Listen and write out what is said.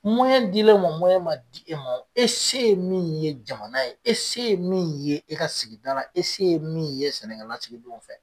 Mɔyɛn dil'e ma mɔyɛn ma di e ma e se ye min ye jamana ye e se ye min ye e ka sigida la e se ye min ye sɛnɛkɛlasigidenw fɛ